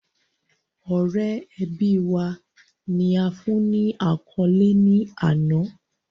Ọrẹ ẹbi wa, ni a fun ni akọle ni ana